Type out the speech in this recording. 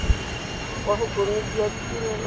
kwa go komiti ya ditirelo